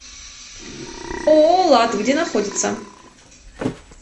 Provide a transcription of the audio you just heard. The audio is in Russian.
ооо лад где находится